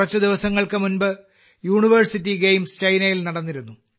കുറച്ച് ദിവസങ്ങൾക്ക് മുമ്പ് യൂണിവേഴ്സിറ്റി ഗെയിംസ് ചൈനയിൽ നടന്നിരുന്നു